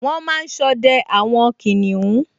Wọ́n máa n sọdẹ àwọn kìnìún